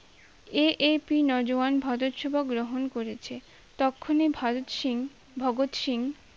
AAP Naujawan Bharat সেবা গ্রহণ করেছে তখনি ভারত সিং ভগৎ সিং